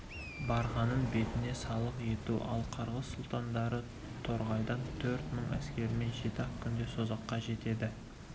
барғанын бетіне салық ету ал қырғыз сұлтандары торғайдан төрт мың әскермен жеті-ақ күнде созаққа жетеді